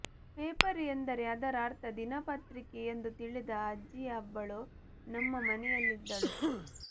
paper ಎಂದರೆ ಅದರ ಅರ್ಥ ದಿನಪತ್ರಿಕೆ ಎಂದು ತಿಳಿದ ಅಜ್ಜಿಯಾಬ್ಬಳು ನಮ್ಮ ಮನೆಯಲ್ಲಿದ್ದಳು